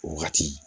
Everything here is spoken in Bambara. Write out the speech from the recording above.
O wagati